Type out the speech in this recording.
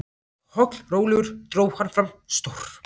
Pollrólegur dró hann fram stór